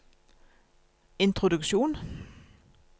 introduksjon